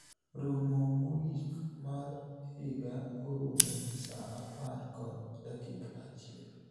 romo mogik mar higa orumo saa apar kod dakika achiel